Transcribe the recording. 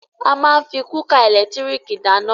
A máa ń fí kúkà ẹ̀lẹ́tírìkì dáná.